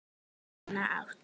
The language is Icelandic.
Sína átt.